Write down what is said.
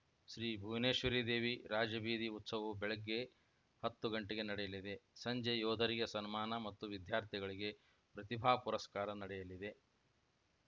ಶ್ರೀ ಭುವನೇಶ್ವರಿದೇವಿ ರಾಜಬೀದಿ ಉತ್ಸವವು ಬೆಳಗ್ಗೆ ಹತ್ತು ಗಂಟೆಗೆ ನಡೆಯಲಿದೆ ಸಂಜೆ ಯೋಧರಿಗೆ ಸನ್ಮಾನ ಮತ್ತು ವಿದ್ಯಾರ್ಥಿಗಳಿಗೆ ಪ್ರತಿಭಾ ಪುರಸ್ಕಾರ ನಡೆಯಲಿದೆ